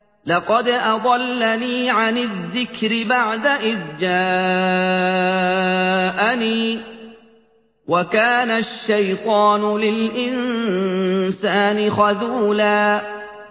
لَّقَدْ أَضَلَّنِي عَنِ الذِّكْرِ بَعْدَ إِذْ جَاءَنِي ۗ وَكَانَ الشَّيْطَانُ لِلْإِنسَانِ خَذُولًا